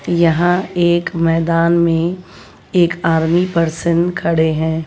यहां एक मैदान में एक आर्मी पर्सन खड़े हैं।